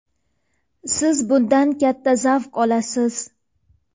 siz bundan katta zavq olasiz.